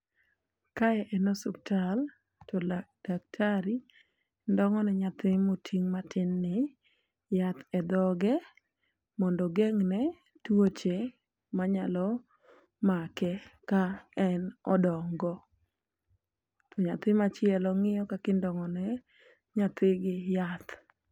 Kae en osuptal to lak daktari ndong'o ne nyathi moting' matin ni yath e dhoge mondo ogeng'ne tuoche manyalo make ka en odongo. Nyathi machielo ng'iyo kaki ndong'o ne nyathi gi yath.